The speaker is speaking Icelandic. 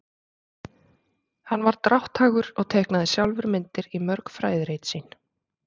hann var drátthagur og teiknaði sjálfur myndir í mörg fræðirit sín